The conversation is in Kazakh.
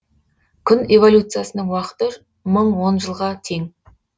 күн эволюциясының уақыты мың он жылға тең